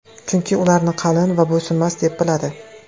Chunki ularni qalin va bo‘ysunmas deb biladi.